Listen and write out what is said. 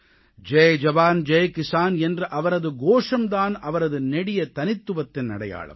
ஜெய் ஜவான் ஜெய் கிசான் என்ற அவரது கோஷம் தான் அவரது நெடிய தனித்துவத்தின் அடையாளம்